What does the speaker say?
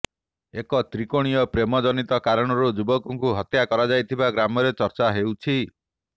ଏକ ତ୍ରିକୋଣୀୟ ପ୍ରେମ ଜନିତ କାରଣରୁ ଯୁବକଙ୍କୁ ହତ୍ୟା କରାଯାଇଥିବା ଗ୍ରାମରେ ଚର୍ଚ୍ଚା ହେଉଛି